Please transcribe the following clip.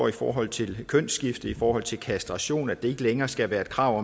i forhold til kønsskifte i forhold til kastration og at det ikke længere skal være et krav